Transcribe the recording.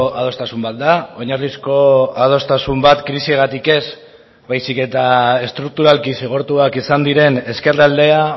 adostasun bat da oinarrizko adostasun bat krisiagatik ez baizik eta estrukturalki zigortuak izan diren ezkerraldea